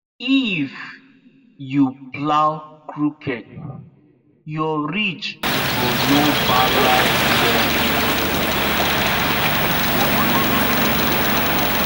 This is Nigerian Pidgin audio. if you plow crooked your ridge go no balance well